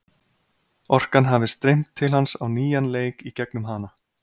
Orkan hafi streymt til hans á nýjan leik í gegnum hana.